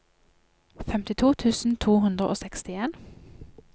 femtito tusen to hundre og sekstien